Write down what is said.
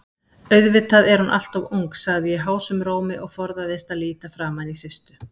Auðvitað er hún alltof ung, sagði ég hásum rómi og forðaðist að líta framaní Systu.